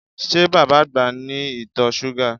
Ṣé bàbá àgbà ní ìtọ̀ súgà?